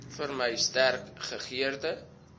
vermy sterk gegeurde